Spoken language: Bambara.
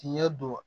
Tiɲɛ don